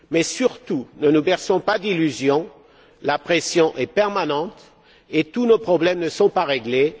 Mais, surtout, ne nous berçons pas d'illusions, la pression est permanente et tous nos problèmes ne sont pas réglés.